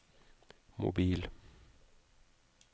mobil